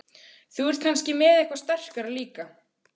Þú ert kannski með eitthvað sterkara líka?